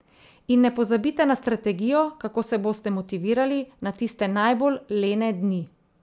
In ne pozabite na strategijo, kako se boste motivirali na tiste najbolj lene dni.